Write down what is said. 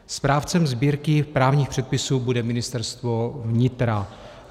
Správcem sbírky právních předpisů bude Ministerstvo vnitra.